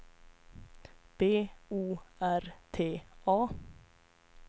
B O R T A